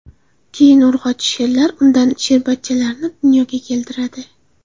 Keyin urg‘ochi sherlar undan sherbachchalarni dunyoga keltiradi.